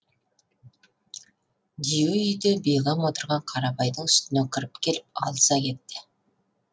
дию үйде бейғам отырған қарабайдың үстіне кіріп келіп алыса кетті